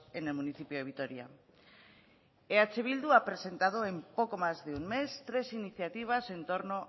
en el municipio de vitoria eh bildu ha presentado en poco más de un mes tres iniciativas en torno